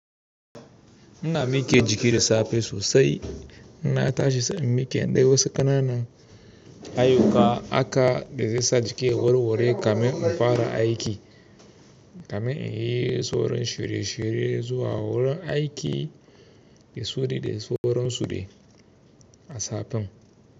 Ina miike jiki da safe sosai, inna tashi sai in miike nde wasu kana nan ayyuka aka dezesa jiki ya warware kamin infara aiki kamin in yii sauran shiryeshirye zuwa wurin aiki de suri de sauran sude a sapen.